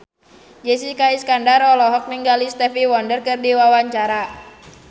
Jessica Iskandar olohok ningali Stevie Wonder keur diwawancara